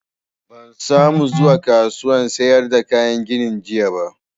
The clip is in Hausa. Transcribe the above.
Ban sa mu zuwa kasuwan sayar da kayan gini jiya ba